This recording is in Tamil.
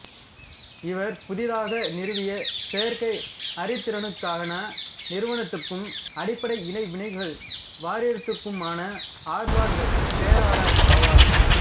இவர் புதிதாக நிறுவிய செயற்கை அறிதிறனுக்கான நிறுவனத்துக்கும் அடிப்படை இடைவினைகள் வாரியத்துக்குமான ஆர்வார்டு பேராளர் ஆவார்